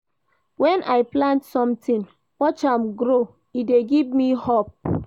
Wen I plant sometin, watch am grow, e dey give me hope.